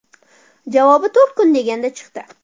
Javobi to‘rt kun deganda chiqdi.